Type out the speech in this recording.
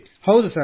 ಹೌದು ಸರ್